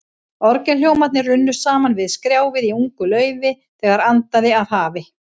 Orgelhljómarnir runnu saman við skrjáfið í ungu laufi, þegar andaði af hafi.